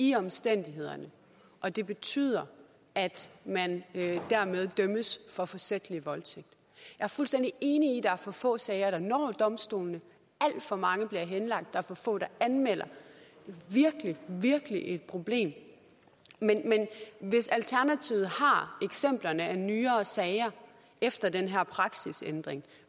i omstændighederne og det betyder at man dermed dømmes for forsætlig voldtægt jeg er fuldstændig enig der er for få sager der når domstolene alt for mange sager bliver henlagt der er for få der anmelder det er virkelig et problem men hvis alternativet har eksempler på nyere sager efter den her praksisændring